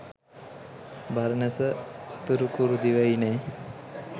Baranasa Uttarakuru දිවයිනේ